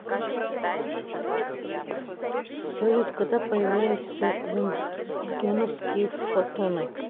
салют когда появляются рентгеновские фотоны